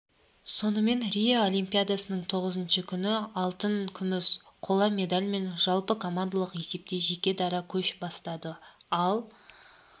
сонымен рио олимпиадасының тоғызыншы күні алтын күміс қола медальмен жалпыкомандалық есепте жеке дара көш бастады ал